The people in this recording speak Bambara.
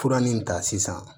Fura nin ta sisan